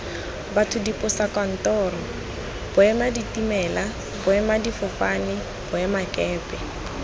batho diposokantoro boemaditimela boemadifofane boemakepe